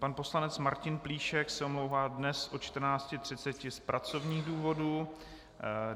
Pan poslanec Martin Plíšek se omlouvá dnes od 14.30 z pracovních důvodů.